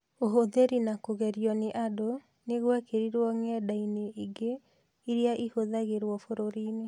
Ũhũthĩri na kũgerio nĩ andũ nĩ gwekĩrũo ng’enda-inĩ ingĩ irĩa ihũthagĩrwo bũrũri-inĩ.